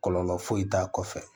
Kɔlɔlɔ foyi t'a kɔfɛ